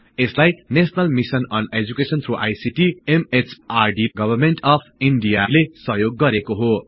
यसलाई National Mission on Education through I C T M H R दीले सहयोग गरेको हो